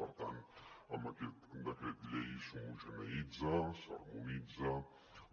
per tant amb aquest decret llei s’homogeneïtza s’harmonitza